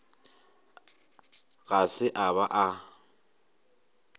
ga se a ba a